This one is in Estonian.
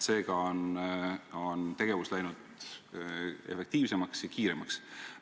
Seega on tegevus läinud efektiivsemaks ja kiiremaks.